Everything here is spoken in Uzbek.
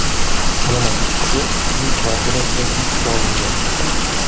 Yana uch kishi uning kvartirasida hibsga olingan.